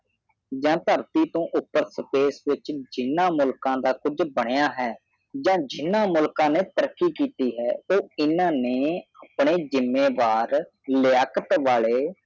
ਜਾ ਜਿਨ੍ਹਾਂ ਮੁਲਕ ਨੇ ਤਰੱਕੀ ਕੀਤੀ ਕਾ ਨਥਰਟੀ ਤੋਂ ਉਪਰ ਬਣੇ ਕੇਸ ਵਿਚ ਜਿਨ੍ਹਾਂ ਮੁਲਕ ਦਾ ਕੁਛ ਬਣਿਆ ਜਾ ਜਿਨ੍ਹਾਂ ਮੁਲਕ ਨੇ ਤਰੱਕੀ ਕੀਤੀ ਹੈ ਉਹ ਅਨਾ ਨੇ ਆਪਣੇ ਜਿਮੇਦਾਰ ਲਿਆਕਤ ਵਾਲੀ